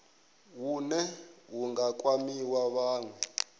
hune hu nga kwama vhanwe